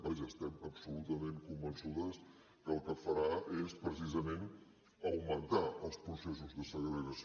vaja estem absolutament convençudes que el que farà és precisament augmentar els processos de segregació